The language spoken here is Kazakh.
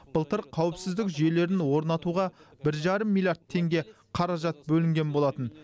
былтыр қауіпсіздік жүйелерін орнатуға бір жарым миллиард теңге қаражат бөлінген болатын